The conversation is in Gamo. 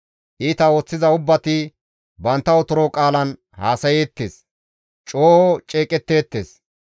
Iita ooththiza ubbati bantta otoro qaalan haasayeettes; coo ceeqetteettes.